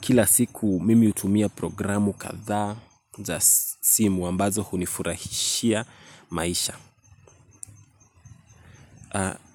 Kila siku mimi hutumia programu kadhaa za simu ambazo hunifurahishia maisha.